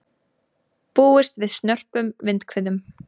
Búist við snörpum vindhviðum